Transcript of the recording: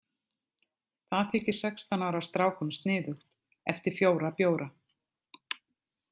Það þykir sextán ára strákum sniðugt eftir fjóra bjóra.